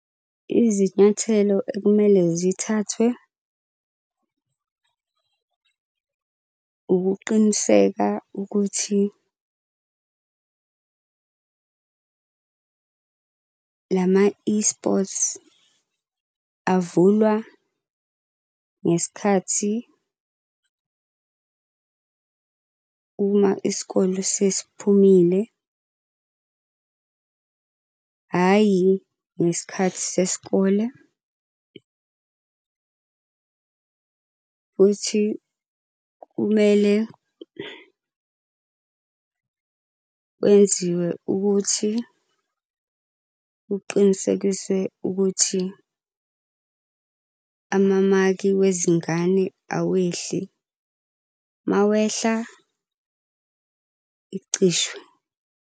Izinyathelo ekumele zithathwe ukuqiniseka ukuthi lama-eSports avulwa ngesikhathi uma isikole sesiphumile hhayi ngesikhathi sesikole. Futhi kumele kwenziwe ukuthi kuqinisekiswe ukuthi amamaki wezingane awehli. Uma wehla, icishwe.